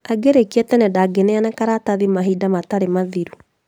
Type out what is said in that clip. Angĩrĩkia tene ndangĩneana karatathi mahinda matarĩ mathiru